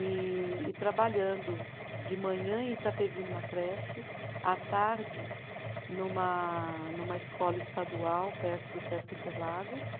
e e trabalhando de manhã em Itapevi numa creche, à tarde numa numa escola estadual perto do Sesc Interlagos.